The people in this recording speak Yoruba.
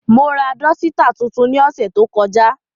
Mo ra dọsitạ tuntun ni ọsẹ to kọja.